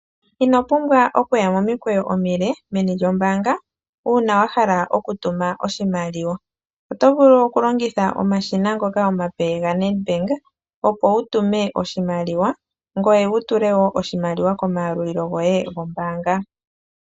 Inopumbwa okuya momikweyo omile meni lyombaanga uuna wahala okutuma oshimaliwa. Otovulu okulongitha omashina ngoka omape yaNedbank opo wutume oshimaliwa, ngoye wutule wo oshimaliwa komayalulilo goye gombaanga.